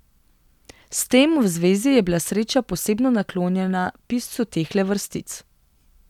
S tem v zvezi je bila sreča posebno naklonjena piscu tehle vrstic.